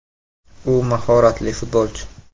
U mahoratlik futbolchi.